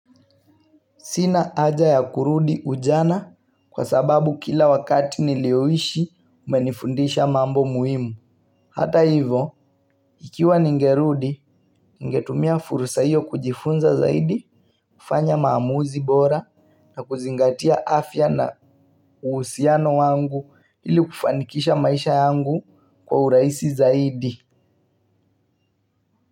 Sina haja ya kurudi ujana kwa sababu kila wakati nilioishi umenifundisha mambo muhimu. Hata hivo, ikiwa ningerudi, ingetumia furusa hiyo kujifunza zaidi, kufanya maamuzi bora na kuzingatia afya na uhusiano wangu ili kufanikisha maisha yangu kwa urahisi zaidi.